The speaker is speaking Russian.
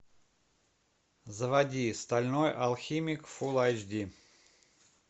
заводи стальной алхимик фулл айч ди